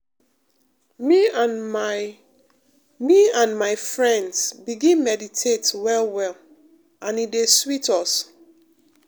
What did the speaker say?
me and my me and my friends begin meditate well well and e dey sweet us.